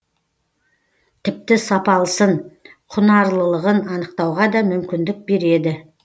тіпті сапалысын құнарлылығын анықтауға да мүмкіндік береді